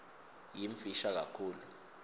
yimfisha kakhulu